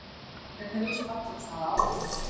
Hvernig líst Halldóri Smára á hann?